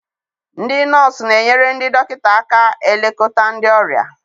Ndị nọọsụ na-enyere ndị dọkịta aka elekọta ndị ọrịa.